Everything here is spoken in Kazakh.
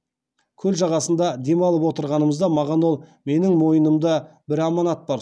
көл жағасында дем алып отырғанымызда маған ол менің мойнымда бір аманат бар